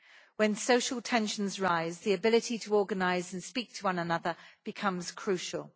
When social tensions rise, the ability to organise and speak to one another becomes crucial.